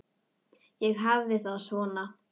Ég hafði það svona.